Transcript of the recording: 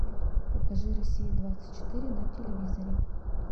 покажи россия двадцать четыре на телевизоре